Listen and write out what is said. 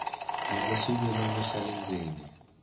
endla xivilelo xa le ndzeni